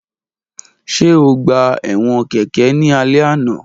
Ṣe o gba ẹwọn keke ni alẹ ana